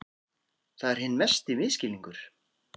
Það er hinn mesti misskilningur.